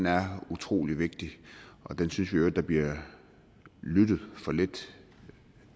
er utrolig vigtig og den synes vi i øvrigt der bliver lyttet for lidt